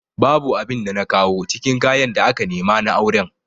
Babu abin da na kawo cikin kayan da aka nema na auren